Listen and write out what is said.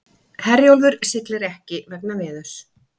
Herjólfur siglir ekki vegna veðurs